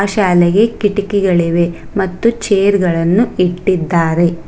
ಶಾಲೆಗೆ ಕಿಟಕಿಗಳಿವೆ ಮತ್ತು ಚೇರ್ಗಳನ್ನು ಇಟ್ಟಿದ್ದಾರೆ.